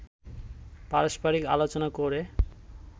পারস্পারিক আলোচনা করে